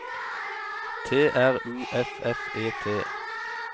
T R U F F E T